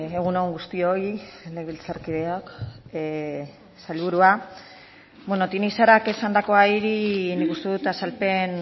egun on guztioi legebiltzarkideok sailburua beno tinixarak esandakoari nik uste dut azalpen